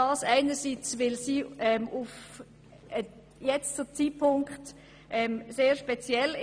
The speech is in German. Einerseits ist der Zeitpunkt sehr speziell.